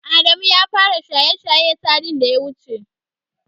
Adamu ya fara shaye-shaye satin da ya wuce.